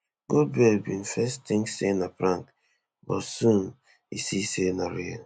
goldberg bin first tink say na prank but soon e see say na real